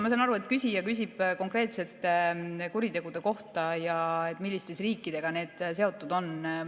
Ma saan aru, et küsija küsib konkreetsete kuritegude kohta ja selle kohta, milliste riikidega need seotud on.